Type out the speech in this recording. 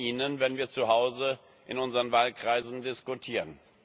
Auch von Ihnen, wenn wir zu Hause in unseren Wahlkreisen diskutieren.